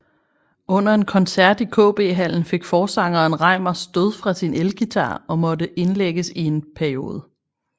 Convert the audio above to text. Under en koncert i KB Hallen fik forsangeren Reimar stød fra sin elguitar og måtte indlægges i en periode